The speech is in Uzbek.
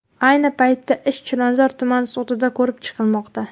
Ayni paytda ish Chilonzor tuman sudida ko‘rib chiqilmoqda.